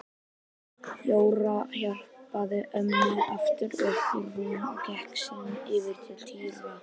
Jóra hjálpaði ömmu aftur upp í rúmið og gekk síðan yfir til Týra.